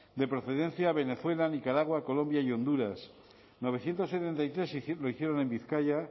de procedencia venezuela nicaragua colombia y honduras novecientos setenta y tres lo hicieron en bizkaia